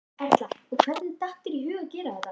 Erla: Og hvernig datt þér í hug að gera þetta?